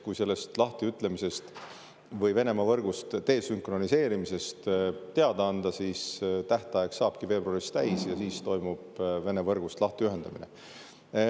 Kui sellest lahtiütlemisest või Venemaa võrgust desünkroniseerimisest teada anda – tähtaeg saabki veebruaris täis –, siis toimub Vene võrgust lahtiühendamine.